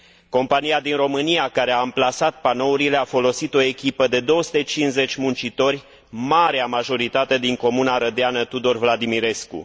Compania din România care a amplasat panourile a folosit o echipă de 250 de muncitori, marea majoritate din comuna arădeană Tudor Vladimirescu.